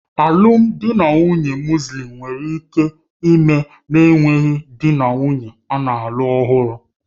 Alụmdi na nwunye Mọslem nwere ike ime na-enweghị dị na nwunye ana-alụ ọhụrụ